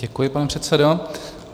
Děkuji, pane předsedo.